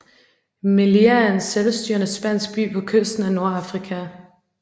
Melilla er en selvstyrende spansk by på kysten af Nordafrika